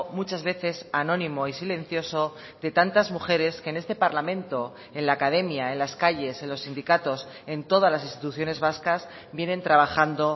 muchas veces anónimo y silencioso de tantas mujeres que en este parlamento en la academia en las calles en los sindicatos en todas las instituciones vascas vienen trabajando